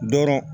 Dɔrɔn